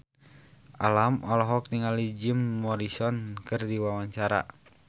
Alam olohok ningali Jim Morrison keur diwawancara